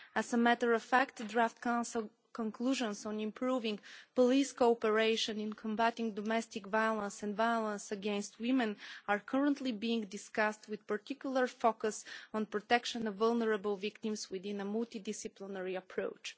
As a matter of fact, draft Council Conclusions on improving police co operation in combating domestic violence and violence against women are currently being discussed, with particular focus on the protection of vulnerable victims within a multidisciplinary approach.